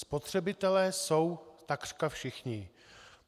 Spotřebitelé jsou takřka všichni.